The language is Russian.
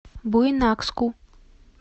буйнакску